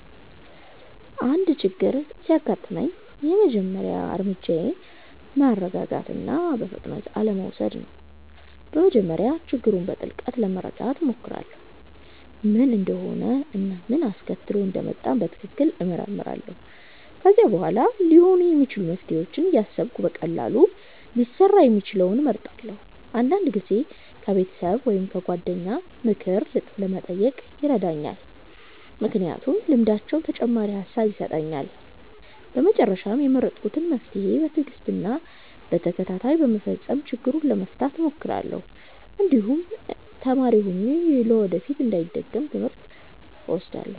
አንድ ችግር ሲያጋጥመኝ የመጀመሪያ እርምጃዬ ማረጋጋት እና በፍጥነት አለመውሰድ ነው። በመጀመሪያ ችግሩን በጥልቅ ለመረዳት እሞክራለሁ፣ ምን እንደሆነ እና ምን አስከትሎት እንደመጣ በትክክል እመረምራለሁ። ከዚያ በኋላ ሊኖሩ የሚችሉ መፍትሄዎችን እያሰብሁ በቀላሉ ሊሰራ የሚችለውን እመርጣለሁ። አንዳንድ ጊዜ ከቤተሰብ ወይም ከጓደኞች ምክር መጠየቅ ይረዳኛል፣ ምክንያቱም ልምዳቸው ተጨማሪ ሐሳብ ይሰጣል። በመጨረሻም የመረጥኩትን መፍትሄ በትዕግስት እና በተከታታይ በመፈጸም ችግሩን ለመፍታት እሞክራለሁ፣ እንዲሁም ተማሪ ሆኜ ለወደፊት እንዳይደገም ትምህርት እወስዳለሁ።